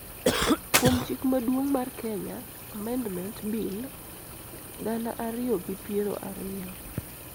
kuom Chik Maduong' mar Kenya (Amendment) Bill, gana ariyi gi piero ariyo.